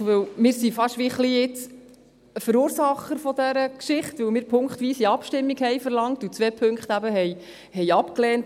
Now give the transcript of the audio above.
Denn wir sind gewissermassen fast ein wenig Verursacher dieser Geschichte, weil wir punktweise Abstimmung verlangten und eben zwei Punkte ablehnten.